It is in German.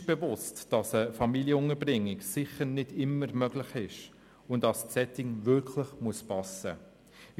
Uns ist bewusst, dass eine Familienunterbringung sicher nicht immer möglich ist und das Setting immer passen muss.